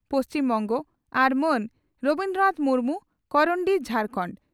ᱯᱹᱵᱹ) ᱟᱨ ᱢᱟᱱ ᱨᱚᱵᱤᱱᱫᱨᱚ ᱱᱟᱛᱷ ᱢᱩᱨᱢᱩ (ᱠᱚᱨᱚᱱᱰᱤ